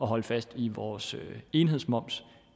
holde fast i vores enhedsmoms